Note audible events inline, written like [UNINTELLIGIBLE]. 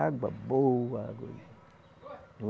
Água boa. Água [UNINTELLIGIBLE]